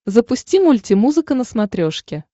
запусти мульти музыка на смотрешке